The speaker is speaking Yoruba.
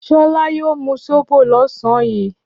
Ṣọlá yóò mú sóbò lọ́sàn-án yìí.